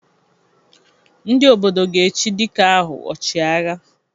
Ndị Obodo ga-echi dike ahụ 'Ọchị agha'